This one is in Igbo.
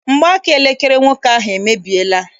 Mgbaaka elekere nwoke ahụ emebiela.